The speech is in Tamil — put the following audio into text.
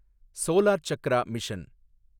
solar Chakra mission